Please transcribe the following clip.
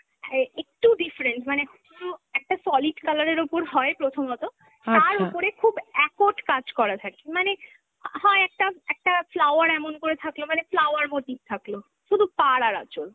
অ্যাঁ একটু different মানে পুরো একটা solid colour এর ওপর হয় প্রথমত, তার ওপরে খুব accord কাজ করা থাকে মানে হয় একটা, একটা flower এমন করে থাকল মানে flower motif থাকল, শুধু পাড় আর আচল